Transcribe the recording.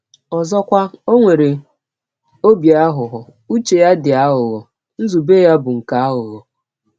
Ọzọkwa, ọ nwere ọbi aghụghọ ụche ya dị aghụghọ, nzụbe ya bụ “ nke aghụghọ.